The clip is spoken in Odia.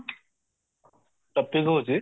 topic ହଉଚି